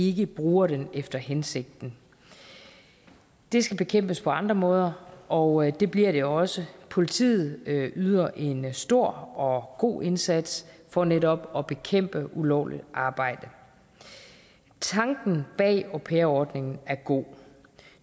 ikke bruger den efter hensigten det skal bekæmpes på andre måder og det bliver det også politiet yder en stor og god indsats for netop at bekæmpe ulovligt arbejde tanken bag au pair ordningen er god